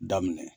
Daminɛ